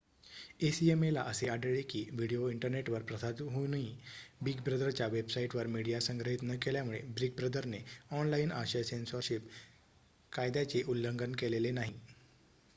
acma ला असेही आढळले की व्हिडीओ इंटरनेटवर प्रसारित होऊनही बिग ब्रदरच्या वेबसाइटवर मीडिया संग्रहित न केल्यामुळे बिग ब्रदरने ऑनलाइन आशय सेन्सॉरशिप कायद्याचे उल्लंघन केलेले नाही